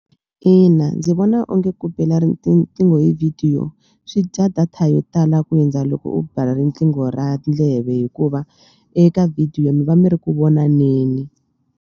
Ina, ndzi vona onge ku bela riqingho hi vhidiyo swi dya data yo tala ku hundza loko u bela riqingho ra ndleve hikuva eka video mi va mi ri ku vonaneni.